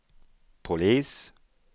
polis